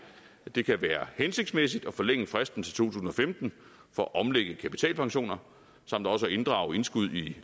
det kan være hensigtsmæssigt at forlænge fristen til to tusind og femten for at omlægge kapitalpensioner samt også at inddrage indskud i